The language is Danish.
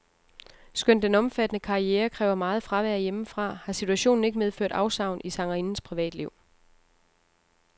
Skønt den omfattende karriere kræver meget fravær hjemmefra, har situationen ikke medført afsavn i sangerindens privatliv.